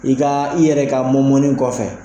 I ka i yɛrɛ ka mɔmɔni kɔfɛ